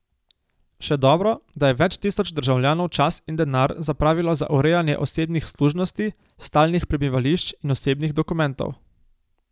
Še dobro, da je več tisoč državljanov čas in denar zapravilo za urejanje osebnih služnosti, stalnih prebivališč in osebnih dokumentov.